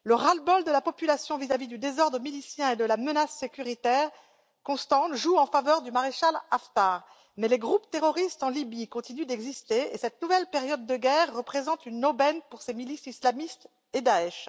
Le ras le bol de la population vis à vis du désordre milicien et de la menace sécuritaire constante joue en faveur du maréchal Haftar, mais les groupes terroristes en Libye continuent d'exister et cette nouvelle période de guerre représente une aubaine pour ces milices islamistes et pour Daech.